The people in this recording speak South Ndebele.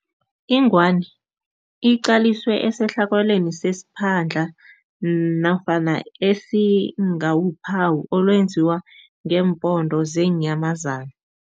Ingwani iqaliswe esehlakalweni sesiphandla nofana esingawuphawu olwenziwa ngeempondo zeenyamazana.